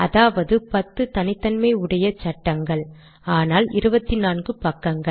அதாவது 10 தனித்தன்மை உடைய சட்டங்கள் ஆனால் 24 பக்கங்கள்